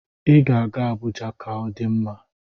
Ị ga-aga Abuja ka ọ dị mma.